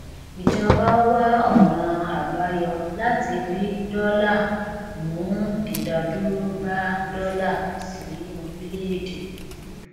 ìjọba wá ọnà àbáyọ láti rí dọlà mú ìdádúró bá dọlà sí orílẹèdè